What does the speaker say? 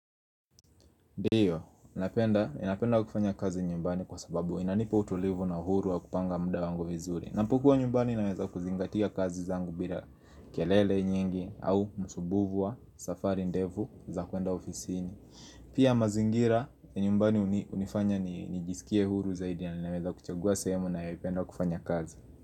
Ndiyo, ninapenda kufanya kazi nyumbani kwa sababu inanipa utulivu na huru wa kupanga muda wangu vizuri. Napokua nyumbani naweza kuzingatia kazi zangu bila kelele nyingi au masumbuvu safari ndevu za kuenda ofisini. Pia mazingira, nyumbani unifanya nijisikie huru zaidi na inaweza kuchagua sehemu ninayoipenda kufanya kazi.